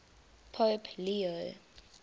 pope leo